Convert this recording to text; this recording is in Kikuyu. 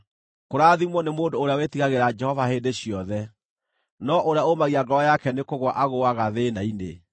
Kũrathimwo nĩ mũndũ ũrĩa wĩtigagĩra Jehova hĩndĩ ciothe, no ũrĩa ũmagia ngoro yake nĩkũgũa agũũaga thĩĩna-inĩ.